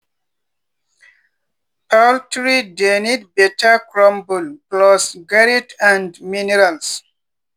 poultry dey need better crumble plus grit and minerals.